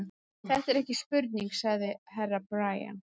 Þetta er ekki spurning, sagði Herra Brian.